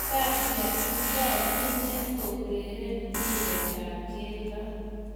Tatia itau ineet koureren mpiretap keldo